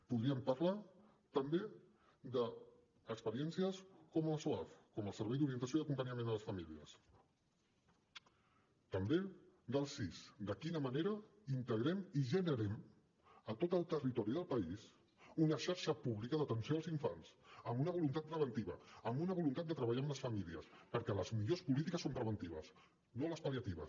podríem parlar també d’experiències com el soaf el servei d’orientació i acompanyament familiar també de quina manera integrem i generem a tot el territori del país una xarxa pública d’atenció als infants amb una voluntat preventiva amb una voluntat de treballar amb les famílies perquè les millors polítiques són les preventives no les pal·liatives